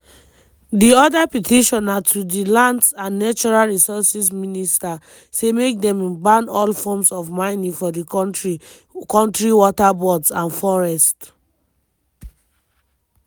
di oda petition na to di lands and natural resources minister say make dem ban all forms of mining for di kontri waterbodies and forests.